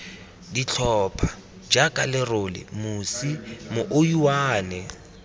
ditlhopha jaaka lerole mosi mouwane